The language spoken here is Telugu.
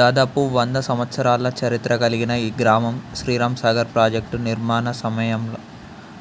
దాదాపు వంద సంవత్సరాల చరిత్ర కలిగిన ఈ గ్రామం శ్రీరాంసాగర్ ప్రాజెక్టు నిర్మాణ సమయములో